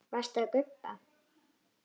Varstu að gubba?